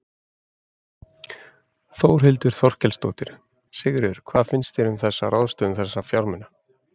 Þórhildur Þorkelsdóttir: Sigríður, hvað finnst þér um þessa ráðstöfun þessa fjármuna?